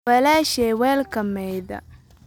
Walaashay weelka maydha